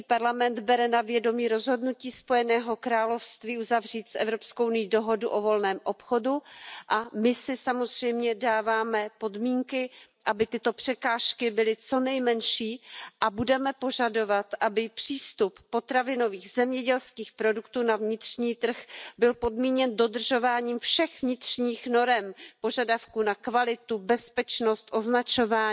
EP bere na vědomí rozhodnutí Spojeného království uzavřít s EU dohodu o volném obchodu a my si samozřejmě dáváme podmínky, aby tyto překážky byly co nejmenší, a budeme požadovat, aby přístup potravinových a zemědělských produktů na vnitřní trh byl podmíněn dodržováním všech vnitřních norem požadavků na kvalitu, bezpečnost, označování,